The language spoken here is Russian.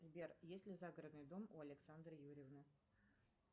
сбер есть ли загородный дом у александры юрьевны